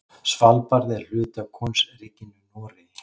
Svalbarði er hluti af Konungsríkinu Noregi.